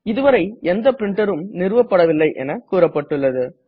இதுவரை எந்த printer ம் நிறுவப்படவில்லை என்று கூறப்பட்டுள்ளது